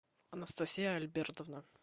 анастасия альбертовна